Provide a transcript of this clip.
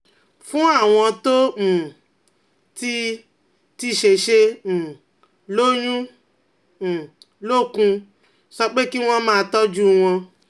Fún àwọn tó um ti ti ṣẹ̀ṣẹ̀ um lóyún um lókun, sọ pé kí wọ́n máa tọ́jú wọn